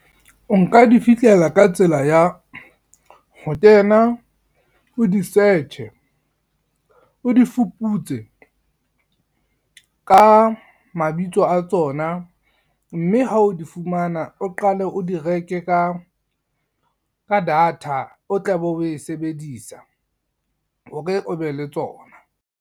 O nka di fihlela ka tsela ya, ho kena o di-search-e, o di fuputse ka mabitso a tsona mme ha o di fumana, o qale o di reke ka data, o tla be o e sebedisa hore o be le tsona.